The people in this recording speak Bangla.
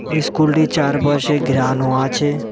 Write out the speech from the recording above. এই স্কুলটি চারপাশে ঘেরানো আছে।